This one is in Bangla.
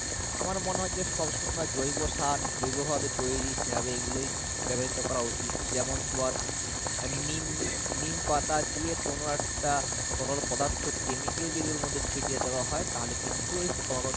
আমার মনে হয় যে যে সব শুকনা জৈব সার জৈব ভাবে তৈরী সার এইগুলোই ব্যবহৃত করা উচিৎ যেমন তোমার আহ নিম নিম পাতা দিয়ে তরল পদার্থ chemical দিয়ে যদি ওর মধ্যে ছিটিয়ে দেওয়া হয় তাহলে কিন্তু এই পোকামাকড়।